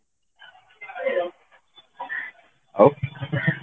ଆଉ